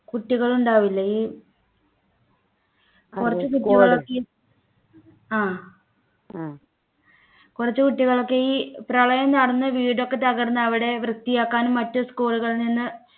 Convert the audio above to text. കുട്ടികൾ ഉണ്ടാവില്ലേ ഈ കുറച്ച് കുട്ടികളൊക്കെ ആഹ് കുറച്ചു കുട്ടികളൊക്കെ ഈ പ്രളയം നടന്ന വീടൊക്കെ തകർന്ന അവിടെ വൃത്തിയാക്കാനും മറ്റും school കളിൽ നിന്ന്